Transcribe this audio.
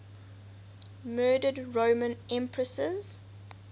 murdered roman empresses